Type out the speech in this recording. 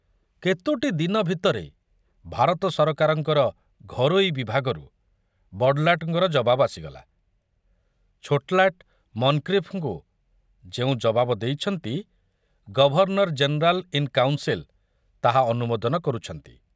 କେତୋଟି ଦିନ ଭିତରେ ଭାରତ ସରକାରଙ୍କର ଘରୋଇ ବିଭାଗରୁ ବଡ଼ଲାଟଙ୍କର ଜବାବ ଆସିଗଲା ଛୋଟଲାଟ ମନକ୍ରିଫଙ୍କୁ ଯେଉଁ ଜବାବ ଦେଇଛନ୍ତି, ଗଭର୍ଣ୍ଣର ଜେନେରାଲ ଇନ କାଉନସିଲ ତାହା ଅନୁମୋଦନ କରୁଛନ୍ତି।